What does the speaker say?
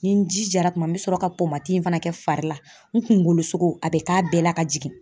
Ni n jijara kuma n bɛ sɔrɔ ka in fana kɛ fari la n kunkolo a bɛ k'a bɛɛ la ka jigin.